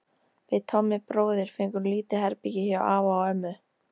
Við Tommi bróðir fengum lítið herbergi hjá afa og ömmu.